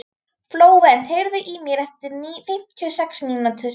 Flóvent, heyrðu í mér eftir fimmtíu og sex mínútur.